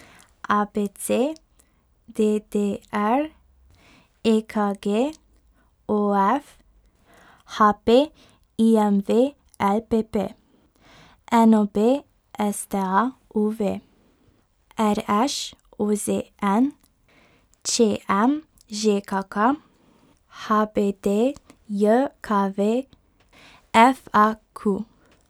A B C; D D R; E K G; O F; H P; I M V; L P P; N O B; S T A; U V; R Š; O Z N; Č M; Ž K K; H B D J K V; F A Q.